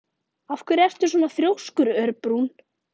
Af hverju ertu svona þrjóskur, Örbrún?